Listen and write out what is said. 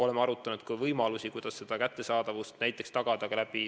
Oleme arutanud ka võimalusi, kuidas tagada ravimite kättesaadavus näiteks haiglavõrgu kaudu.